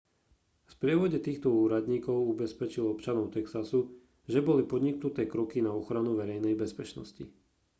v sprievode týchto úradníkov ubezpečil občanov texasu že boli podniknuté kroky na ochranu verejnej bezpečnosti